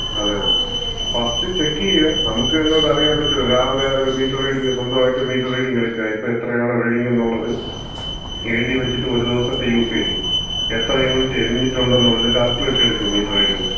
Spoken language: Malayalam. അതെ അതെ, ഫസ്റ്റ് ചെക്ക് ചെയ്യാ. നമുക്ക് തന്നെ അറിയാൻ പറ്റുംല്ലോ, രാവിലെ ഒരു മീറ്റർ റീഡിങ്, സ്വന്തായിട്ട് ഒരു മീറ്റർ റീഡിങ് എടുക്കാ, ഇപ്പം എത്രയാണ് റീഡിങ് എന്നുള്ളത്. എഴുതി വച്ചിട്ട് ഒരു ദിവസത്തെ യൂസേജ് എത്ര യൂണിറ്റ് എരിഞ്ഞിട്ടുണ്ടെന്നുള്ളത് കാൽക്കുലേഷൻ എടുക്കുക. മീറ്റർ റീഡിങിന്‍റെ.